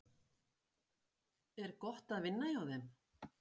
Kristján: Er gott að vinna hjá þeim?